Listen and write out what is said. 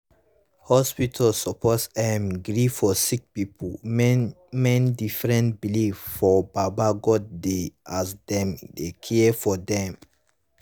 hospitas suppos erm gree for sicki pipu main main different beliefs for baba godey as dem dey care for dem